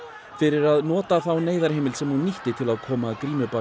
fyrir að nota þá sem hún nýtti til að koma grímubanninu